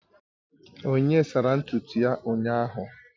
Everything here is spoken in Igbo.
Onyinye sara ntutu ya ụnyahụ